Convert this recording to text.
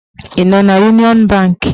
Ị nọ n'Uniọn bank?